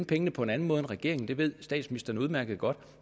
penge på en anden måde end regeringen ønskede det ved statsministeren udmærket godt